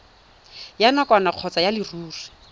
ya nakwana kgotsa ya leruri